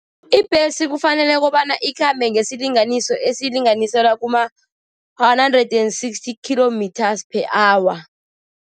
Ibhesi kufanele kobana ikhambe nesilinganiso esilinganiselwa kuma-one hundred and sixty kilometers per hour.